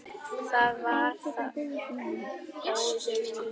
Það var það góður tími.